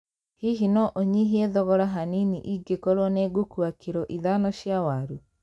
Hihi no ũnyihie thogora hanini ĩngĩkorũo ni ngũkũũa kilo ithano cia waru